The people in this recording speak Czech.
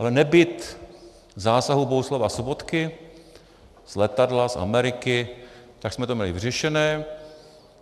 Ale nebýt zásahu Bohuslava Sobotky z letadla, z Ameriky, tak jsme to měli vyřešené.